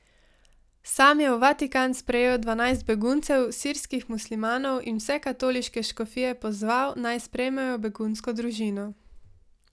Sam je v Vatikan sprejel dvanajst beguncev, sirskih muslimanov, in vse katoliške škofije pozval, naj sprejmejo begunsko družino.